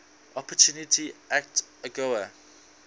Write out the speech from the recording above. opportunity act agoa